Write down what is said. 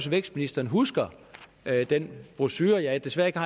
vækstministeren husker den brochure jeg desværre ikke